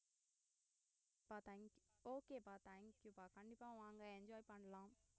பா thank youokay ப்பா thank you ப்பா கண்டிப்பா வாங்க enjoy பண்ணலாம்